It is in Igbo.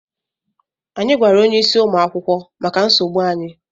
Anyị gwara onyeisi ụmụ akwụkwọ maka nsogbu anyị.